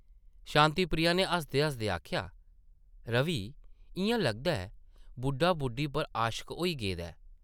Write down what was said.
शांति प्रिया नै हसदे-हसदे आखेआ ,‘‘ रवि इʼयां लगदा ऐ, बुड्ढा बुड्ढी पर आशक होई गेदा ऐ ।’’